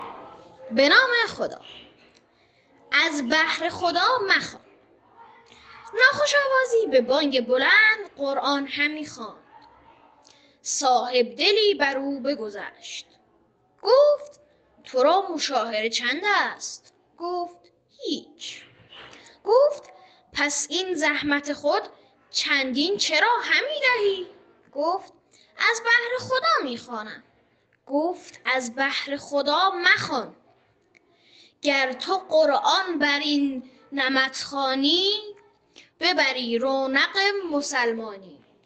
ناخوش آوازی به بانگ بلند قرآن همی خواند صاحبدلی بر او بگذشت گفت تو را مشاهره چند است گفت هیچ گفت پس این زحمت خود چندین چرا همی دهی گفت از بهر خدا می خوانم گفت از بهر خدا مخوان گر تو قرآن بر این نمط خوانی ببری رونق مسلمانی